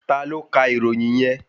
Ta ló kà ìròyìn yẹn?